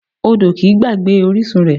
Odò kìí gbàgbé orísun rẹ̀